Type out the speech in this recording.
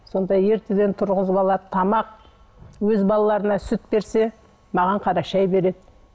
сонда ертеден тұрғызып алады тамақ өз балаларына сүт берсе маған қара шай береді